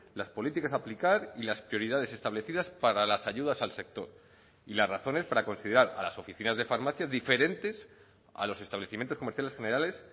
las políticas a aplicar y las prioridades establecidas para las ayudas al sector y las razones para considerar a las oficinas de farmacia diferentes a los establecimientos comerciales generales